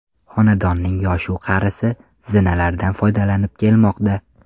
Xonadonning yosh-u qarisi, zinalardan foydalanib kelmoqda.